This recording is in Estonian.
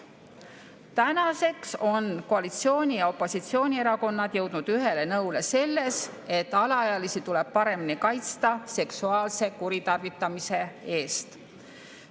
Tänaseks on koalitsiooni‑ ja opositsioonierakonnad jõudnud ühele nõule selles, et alaealisi tuleb paremini kaitsta seksuaalse kuritarvitamise eest.